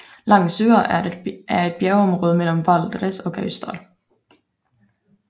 Langsua er et bjergområde mellem Valdres og Gausdal